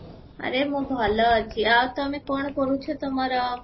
ଆରେ ମୁଁ ଭଲ ଅଛି ଆଉ ତମେ କଣ କରୁଛ ତୁମର